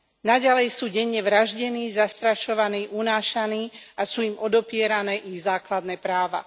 Naďalej sú denne vraždení, zastrašovaní, unášaní a sú im odopierané ich základné práva.